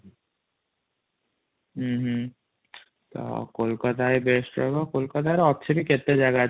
ହ୍ନି କୋଲକାତା ହ୍ନି ବେଷ୍ଟ ହବ କୋଲକାତା ରେ ବହୁତ ଜାଗା ଅଛି |